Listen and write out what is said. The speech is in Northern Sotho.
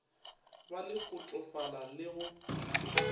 be le kotofala le go